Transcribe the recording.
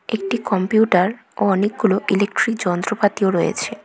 একটি কম্পিউটার ও অনেকগুলো ইলেকট্রিক যন্ত্রপাতিও রয়েছে।